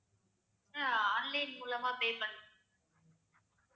அஹ் online மூலமா pay பண்~